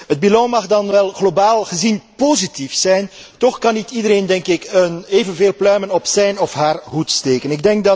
De balans mag dan wel globaal gezien positief zijn, toch kan ik iedereen, denk ik, evenveel pluimen op zijn of haar hoed steken.